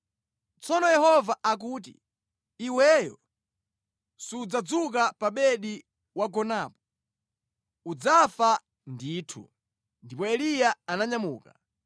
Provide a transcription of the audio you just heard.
Tsono Yehova akuti, ‘Iweyo sudzadzuka pa bedi wagonapo. Udzafa ndithu!’ ” Ndipo Eliya ananyamuka.